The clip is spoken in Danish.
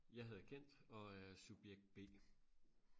jeg hedder Kent og er subjekt b